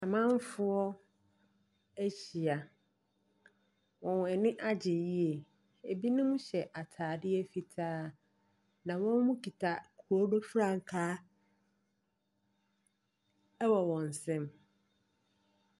Amanfoɔ ahyia. Wɔn ani gye yiye. Ebinom hyɛ ataadeɛ fitaa. Na wɔmo kita wɔmo frankaa ɛwɔ wɔn nsam.